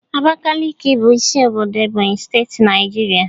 Abakaliki bụ isi obodo Ebonyi State, Naijiria.